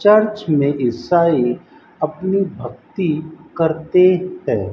Church में ईसाई अपनी भक्ति करते है।